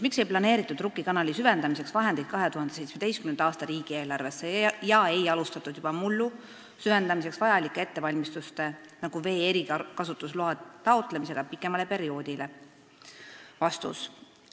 Miks ei planeeritud Rukki kanali süvendamiseks vahendeid 2017. aasta riigieelarvesse ega alustatud juba mullu süvendamiseks vajalikke ettevalmistusi, nagu vee erikasutusloa taotlemine pikemale perioodile?